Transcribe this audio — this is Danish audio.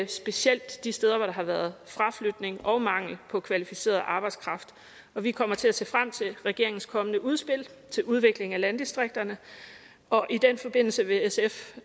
specielt de steder hvor der har været fraflytning og mangel på kvalificeret arbejdskraft vi kommer til at se frem til regeringens kommende udspil til udvikling af landdistrikterne og i den forbindelse vil sf